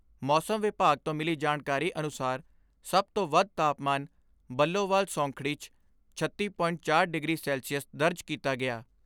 ਮੌਸਮ ਵਿਭਾਗ ਤੋਂ ਮਿਲੀ ਜਾਣਕਾਰੀ ਅਨੁਸਾਰ ਸਭ ਤੋਂ ਵੱਧ ਤਾਪਮਾਨ ਬੱਲੋਵਾਲ ਸੌਂਖੜੀ 'ਚ ਛੱਤੀ ਪੋਇੰਟ ਚਾਰ ਡਿਗਰੀ ਸੈਲਸੀਅਸ ਦਰਜ ਕੀਤਾ ਗਿਆ।